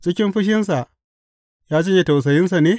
Cikin fushinsa ya janye tausayinsa ne?